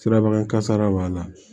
Sirabakan kasara b'a la